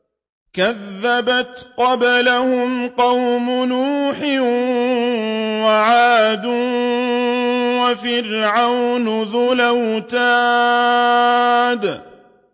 كَذَّبَتْ قَبْلَهُمْ قَوْمُ نُوحٍ وَعَادٌ وَفِرْعَوْنُ ذُو الْأَوْتَادِ